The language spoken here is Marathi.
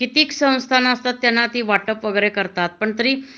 कित्येक संस्था त्यांना वाटप वैगेरे करतात पण तरी